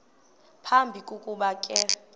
phambi kokuba ke